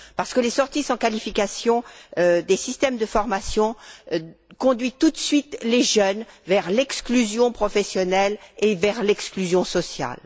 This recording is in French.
En effet, les sorties sans qualification des systèmes de formation conduisent tout de suite les jeunes vers l'exclusion professionnelle et vers l'exclusion sociale.